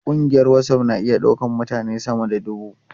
Kungiyar WhatsApp na iya daukar mutane sama da dubu.